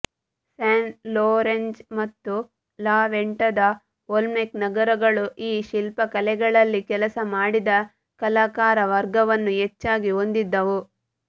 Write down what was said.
San Lorenzo ಮತ್ತು ಲಾ ವೆಂಟಾದ ಓಲ್ಮೆಕ್ ನಗರಗಳು ಈ ಶಿಲ್ಪಕಲೆಗಳಲ್ಲಿ ಕೆಲಸ ಮಾಡಿದ ಕಲಾಕಾರ ವರ್ಗವನ್ನು ಹೆಚ್ಚಾಗಿ ಹೊಂದಿದ್ದವು